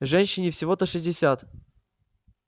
женщине всего-то шестьдесят